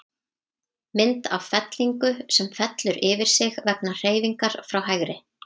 Mynd af fellingu, sem fellur yfir sig vegna hreyfingar frá hægri.